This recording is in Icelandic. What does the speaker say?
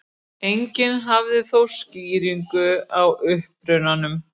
Enginn hafði þó skýringu á upprunanum.